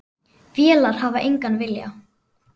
Vélar hafa engan vilja.